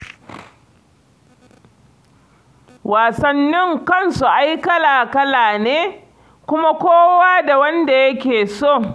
Wasannin kansu ai kala-kala ne, kuma kowa da wanda yake so.